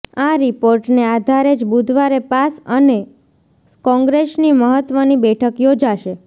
આ રિપોર્ટને આધારે જ બુધવારે પાસ અને કોંગ્રેસની મહત્વની બેઠક યોજાશે